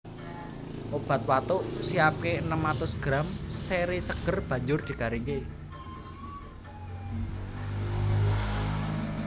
Obat watuk Siapke enem atus gram seré seger banjur digaringake